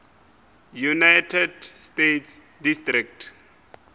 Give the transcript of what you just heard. united states district